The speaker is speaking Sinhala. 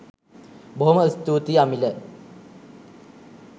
බොහොම ස්තුතියි අමිල